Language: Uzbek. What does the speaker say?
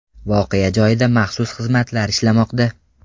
Voqea joyida maxsus xizmatlar ishlamoqda.